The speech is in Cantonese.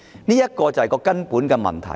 這便是根本的問題。